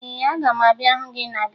Ee, aga m abịa hụ gị na geto